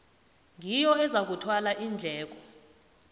ngiyo ezakuthwala iindleko